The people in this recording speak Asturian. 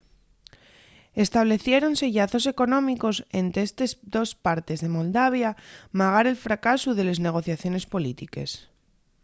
estableciéronse llazos económicos ente estes dos partes de moldavia magar el fracasu de les negociaciones polítiques